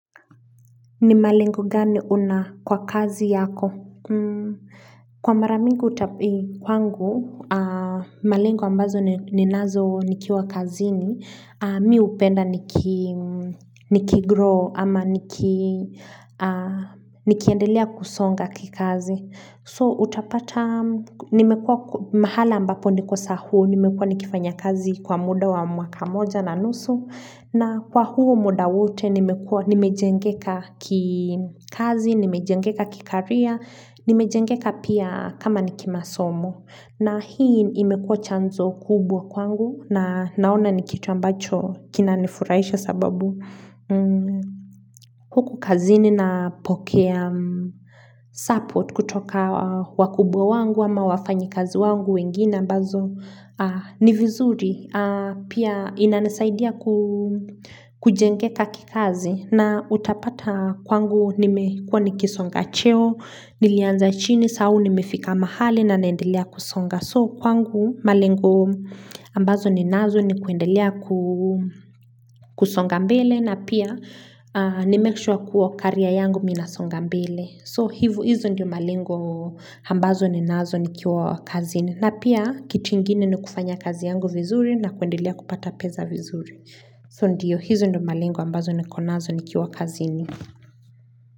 Ni malengo gani una kwa kazi yako? Kwa mara mingi kwangu, malengo ambazo ninazo nikiwa kazini, mi hupenda nikigrow ama nikiendelea kusonga kikazi. So utapata, nimekuwa mahala ambapo niko saa huu, nimekuwa nikifanya kazi kwa muda wa mwaka moja na nusu, na kwa huo muda wote nimekua, nimejengeka kikazi, nimejengeka kikaria, nimejengeka pia kama nikimasomo. Na hii imekuwa chanzo kubwa kwangu na naona ni kitu ambacho kinanifuraisha sababu huku kazini napokea support kutoka wakubwa wangu ama wafanyikazi wangu wengine ambazo ni vizuri. Pia inanisaidia kujengeka kikazi na utapata kwangu nimekuwa nikisonga cheo, nilianza chini, saa huu nimefika mahali na naendelea kusonga. So kwangu malengo ambazo ninazo ni kuendelea kusonga mbele na pia nimake sure kuwa career yangu mi nasonga mbele. So hivo hizo ndio malengo ambazo ninazo nikiwa kazini. Na pia kitu ingine ni kufanya kazi yangu vizuri na kuendelea kupata pesa vizuri. So ndio hizo ndio malengo ambazo niko nazo nikiwa kazini.